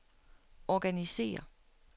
organisér